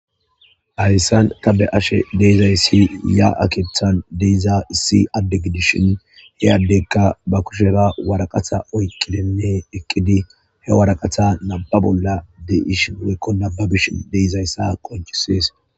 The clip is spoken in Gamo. Haysan ta beyashe de'izaysi zaa'a keethan de'iza issi adde gidishin he addeyka ba kushera waraqata oykidinne eqidi he waraqata nam'a bolla de'shin woylo nababishe de'izaysa qoncisees.